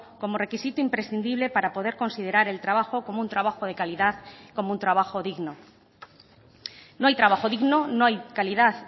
como requisito imprescindible para poder considerar el trabajo como un trabajo de calidad como un trabajo digno no hay trabajo digno no hay calidad